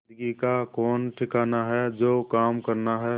जिंदगी का कौन ठिकाना है जो काम करना है